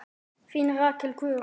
Þín Rakel Guðrún.